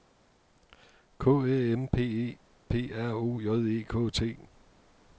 K Æ M P E P R O J E K T